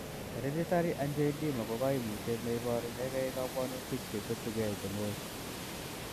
Hereditary angioedema ko koimutiet neiborunengei kobwonutik cheketukei cheng'oi.